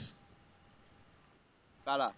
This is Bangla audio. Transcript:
কারা?